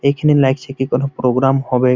এইখানে লাগছে কি কোন প্রোগ্রাম হবে-এ--